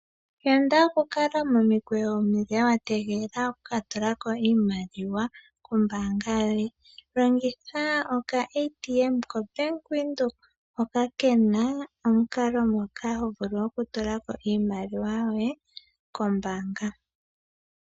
Yanda oku kala momikweyo omile wa tegelea oku ka tulako iimaliwa kombaanga yoye, longitha okaATM kOmbaanga yaVenduka hoka kena omukalo ngoka hovulu oku tulako iimaliwa yoye kombaanga.